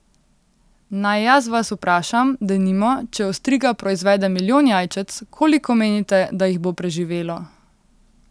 Naj jaz vas vprašam, denimo, če ostriga proizvede milijon jajčec, koliko menite, da jih bo preživelo?